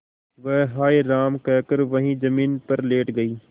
वह हाय राम कहकर वहीं जमीन पर लेट गई